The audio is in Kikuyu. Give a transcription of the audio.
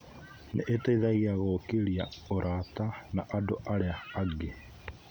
Nĩ iteithagia gũkũria ũrata na andũ arĩa angĩ.